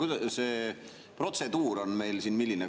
Milline see protseduur meil siin on?